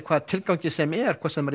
hvaða tilgangi sem er hvort sem